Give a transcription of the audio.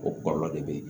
O kɔlɔlɔ de bɛ yen